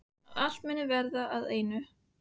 Að allt muni verða að einu.